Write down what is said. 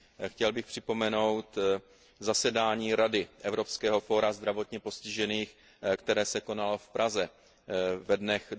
Chtěl bych připomenout zasedání Rady evropského fóra zdravotně postižených, které se konalo v Praze ve dnech